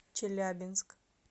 челябинск